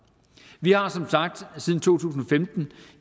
vi har som sagt siden to tusind og femten